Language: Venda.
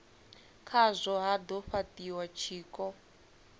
khazwo ha do fhatiwa tshiko